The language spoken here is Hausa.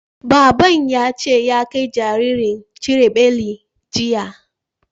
Baban ya ce ya kai jinjirin cire beli, jiya.